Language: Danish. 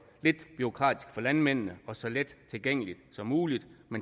lidt bureaukratisk for landmændene og så let tilgængeligt som muligt men